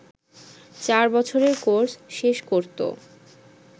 চার বছরের কোর্স শেষ করত